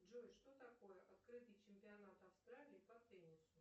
джой что такое открытый чемпионат австралии по теннису